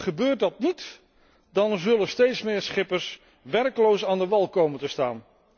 Gebeurt dat niet, dan zullen steeds meer schippers werkloos aan de wal komen te staan.